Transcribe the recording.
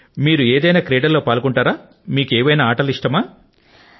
అయితే మరి మీరు కూడా ఏదైనా క్రీడల లో పాల్గొంటూ ఉంటారా ఏవైనా ఆటలంటే మీకు ఇష్టమా